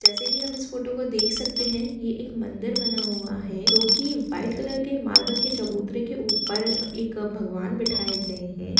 जैसा की हम इस फोटो देख सकते है यह एक मंदिर बना हुआ है जोकि वाइट कलर के मार्बल के चबूतरे के ऊपर एक भगवान बैठाए गए है।